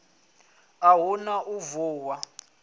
a hu na u vuwa